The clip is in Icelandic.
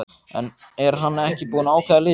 En er hann ekki búinn að ákveða liðið?